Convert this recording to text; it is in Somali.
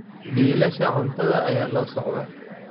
Biilasha cuntada ayaa la socda